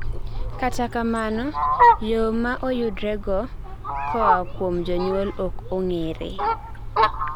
kata kamano, yoo maoyudrego koa kuom jonyuol ok ong'ere